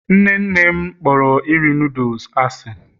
nne nne m kporo nri noodles asị.